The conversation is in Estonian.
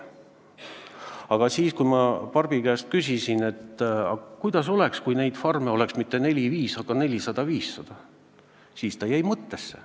Aga kui ma Barbi käest küsisin, kuidas oleks, kui neid farme ei oleks mitte neli-viis, vaid 400–500, siis ta jäi mõttesse.